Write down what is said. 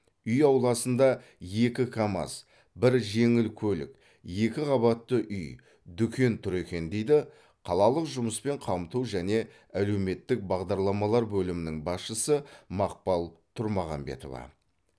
үй ауласында екі камаз бір жеңіл көлік екіқабатты үй дүкен тұр екен дейді қалалық жұмыспен қамту және әлеуметтік бағдарламалар бөлімінің басшысы мақпал тұрмағамбетова